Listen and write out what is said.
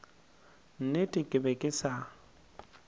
nnete ke be ke sa